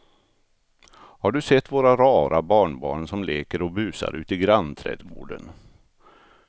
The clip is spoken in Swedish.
Har du sett våra rara barnbarn som leker och busar ute i grannträdgården!